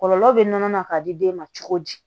Kɔlɔlɔ bɛ nɔnɔ na ka di den ma cogo di